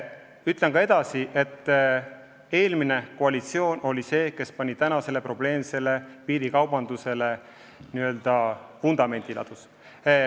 Ütlen ka seda, et eelmine koalitsioon oli see, kes probleemsele piirikaubandusele vundamendi ladus.